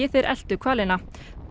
þeir eltu hvalina